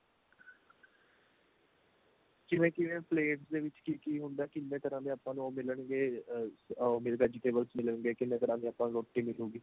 ਕਿਵੇਂ ਕਿਵੇਂ plates ਦੇ ਵਿੱਚ ਕੀ ਕੀ ਹੁੰਦਾ ਕਿੰਨੇ ਤਰ੍ਹਾਂ ਦੇ ਆਪਾਂ ਨੂੰ ਉਹ ਮਿਲਣ ਗੇ ਆ vegetables ਮਿਲਣਗੇ ਕਿੰਨੀ ਤਰ੍ਹਾਂ ਦੀ ਆਪਾਂ ਨੂੰ ਰੋਟੀ ਮਿਲੂਗੀ